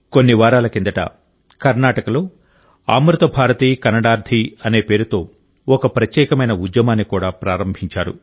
కొన్ని వారాల కిందట కర్ణాటకలో అమృత భారతి కన్నడార్థి అనే పేరుతో ఒక ప్రత్యేకమైన ఉద్యమాన్ని కూడా ప్రారంభించారు